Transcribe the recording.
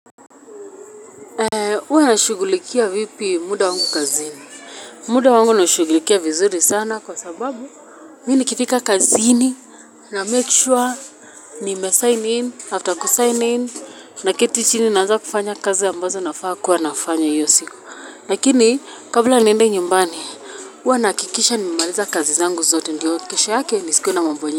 Uwa nashugulikia vipi muda wangu kazini? Muda wangu nashugulikia vizuri sana kwa sababu Mi nikifika kazini na make sure nimesign in after kusign in. Naketi chini naanza kufanya kazi ambazo nafaa kuwa nafanya iyo siku. Lakini kabla niende nyumbani uwa nakikisha nimemaliza kazi zangu zote ndiyo kesho yake nisikue na mambo nyi.